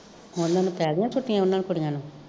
ਉਹਨਾਂ ਨੂੰ ਪੈ ਗਈਆ ਛੁੱਟੀਆ ਕੁੜੀਆ ਨੂੰ